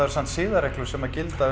samt siðareglur sem gilda